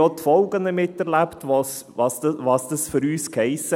Wir haben auch die Folgen miterlebt, was das für uns hiess.